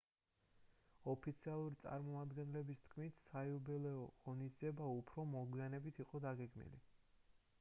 ოფიციალური წარმომადგენლების თქმით საიუბილეო ღონისძიება უფრო მოგვიანებით იყო დაგეგმილი